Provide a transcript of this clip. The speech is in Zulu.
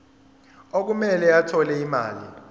okumele athole imali